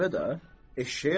Eşşəyə nə olur?